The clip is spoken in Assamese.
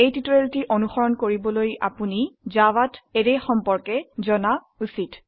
টিউটোৰিয়ালটি অনুসৰন কৰিবলৈ আপোনি জাভাত অ্যাৰে সম্পৰ্কে জনা উচিত